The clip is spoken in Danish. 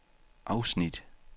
afsnit